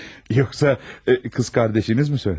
Yoxsa qız qardaşınızmı söylədi?